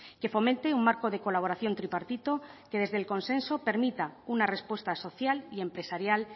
que fomente un marco de colaboración tripartito que desde el consenso permita una respuesta social y empresarial